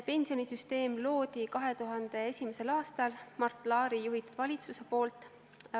Pensionisüsteem loodi 2001. aastal Mart Laari juhitud valitsuse poolt.